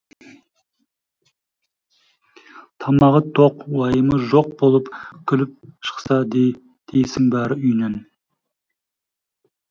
тамағы тоқ уайымы жоқ болып күліп шықса дейсің бәрі үйінен